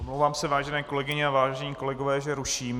Omlouvám se, vážené kolegyně a vážení kolegové, že ruším.